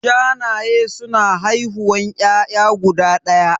Shanaye suna haihuwan ƴaƴa guda ɗaya